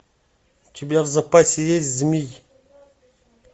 у тебя в запасе есть змий